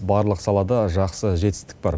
барлық салада жақсы жетістік бар